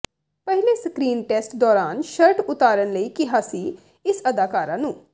ਪਹਿਲੇ screen test ਦੌਰਾਨ shirt ਉਤਾਰਨ ਲਈ ਕਿਹਾ ਸੀ ਇਸ ਅਦਾਕਾਰਾ ਨੂੰ